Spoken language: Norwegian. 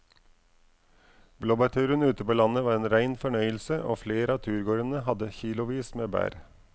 Blåbærturen ute på landet var en rein fornøyelse og flere av turgåerene hadde kilosvis med bær.